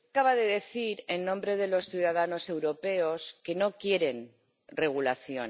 Acaba de decir, en nombre de los ciudadanos europeos, que no quieren regulación.